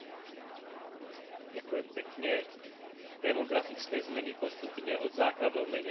Demografické zmeny postupne od základov menia štruktúru populácie a vekovú pyramídu.